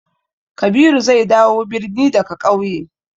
Kabiru zai dawo birni daga ƙauye.